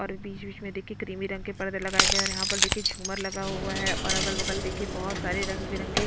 और बीच - बीच में देखिये क्रीमी रंग के परदे लगाए गए हैं यहाँ पर देखिये झूमर लगा हुआ है और अगल - बगल देखिये बहुत सारे रंग बिरंगे --